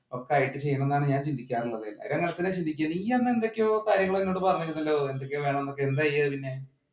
ഞാൻ ചിന്തിയ്ക്കാറുള്ളത് നീ അന്ന് എന്തൊക്കെയോ കാര്യങ്ങൾ എന്നോട് അന്നു പറഞ്ഞിരുന്നല്ലോ എന്തൊക്കെയോ വേണം എന്നൊക്കെ എന്തായി അതിന്